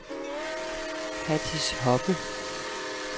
Hatice Hoppe